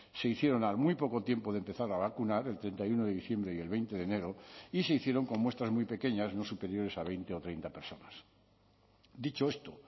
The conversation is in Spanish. se hicieron al muy poco tiempo de empezar a vacunar el treinta y uno de diciembre y el veinte de enero y se hicieron con muestras muy pequeñas no superiores a veinte o treinta personas dicho esto